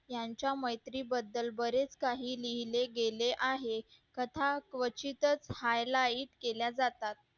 यांच्या मैत्री बद्दल बरेच काही लिहिले गेले आहे तथा क्वचितच high light केल्या जातात